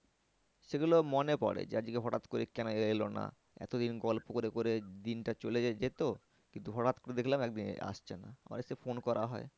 সেগুলো মনে পরে যে আজকে হঠাৎ করে কেন এলো না? এতদিন গল্প করে করে দিনটা চলে যেত কিন্তু হঠাৎ করে দেখলাম একদিন আসছে না। আবার এসে phone করা হয়।